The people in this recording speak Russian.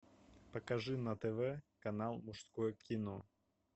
покажи на тв канал мужское кино